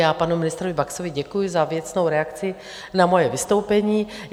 Já panu ministrovi Baxovi děkuji za věcnou reakci na moje vystoupení.